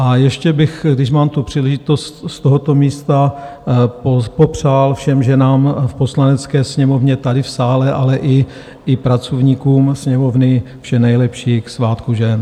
A ještě bych, když mám tu příležitost, z tohoto místa popřál všem ženám v Poslanecké sněmovně tady v sále, ale i pracovníkům Sněmovny vše nejlepší k svátku žen.